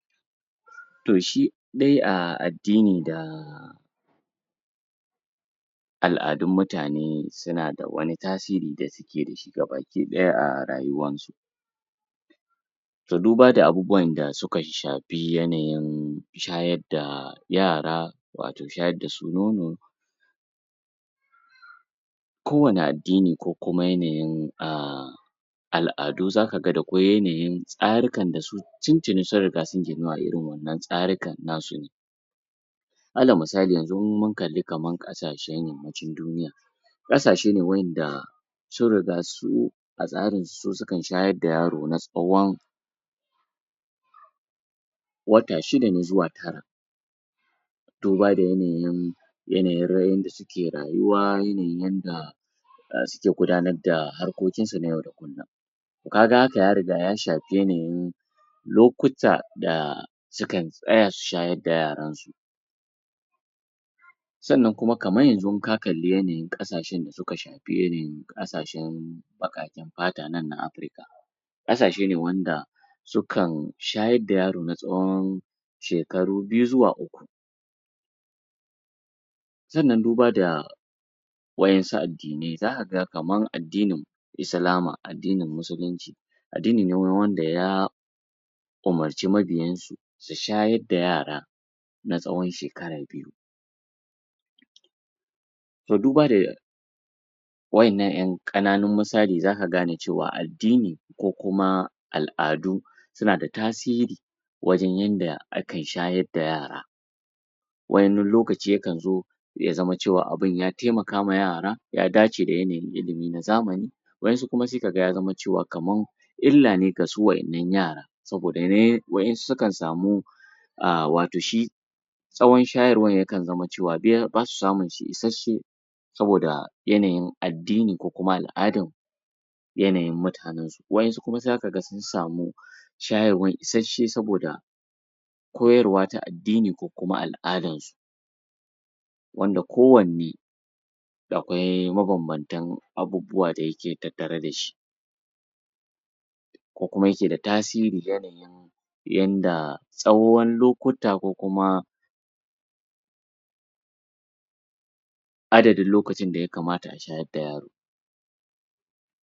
Toh shidai a addini da al'addun mutane, suna da wane tasiri da suke da shi gabadaya a rayuwan su so duba da abubuwan da shuka shafi yanayin shayar da yara, wato shayar da su nono kowane addini kuma yanayin um al'addu zaka ga da ko yanayin tsarukan da su, tuntuni sun riga sun riga sun ginu a irin wadannan tsarukan nasu alal misali yanzu in mun kalli kaman kashassen yammacin duniya kashasse ne wa yanda sun riga su a tsarin su, su sukan shayar da yaro na tsawon wata shida ne zuwa tara duba da yanayin yanayin yadda suke rayuwa, yanayin yadda gudanar da harkokin su na yau da gobe kaga haka ya riga ya shafi yanayin lokuta da su kan tsaya su shayar da yaran su sannan kuma kaman yanzu ka kalle yanayin kasashen da suka shafi irin kasashen bakaken fata nan na Africa Kasashe ne wanda sukan shayar da yaro na tsowon shekaru biyu zuwa uku. sannan duba ga wa'ensu addinai, za ka ga kaman addinin islama; addinin musulunci addini ne wanda ya u'murce mabiyansu su shayar da yara na tsowon shekara biyu. Toh duba wadannan yan kananen musali, za ka gane cewa addini ko kuma al'adu, suna da tasiri wajen yanda akan shayar da yara wani lokaci yakan zo ya zama cewa abun ya taimaka ma yara, ya dace da yanayi illimi na zamani wayansu sai ka ga ya zama cewa, kaman illa ne gasu wadannan yara saboda wadansu sukan samu um wato shi tsowon shayarwan ya kan zaman cewa basu samun ishashe saboda yanayin addini ko kuma al'addan yanayin mutanen su. wayansu za ka ga sun samu shayarwa ishashe saboda koyarwa ta addini ko kuma al'addan su wanda kowane akwai ma bambantan abubuwa dayake tattare da shi ko kuma yake da tasiri, yanayin yanda tsowon lokuta ko kuma adadin lokacin da yakamata a shayar da yaro